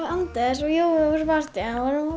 Anders og Jói vorum á